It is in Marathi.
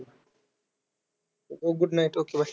चल, good night okay. Bye.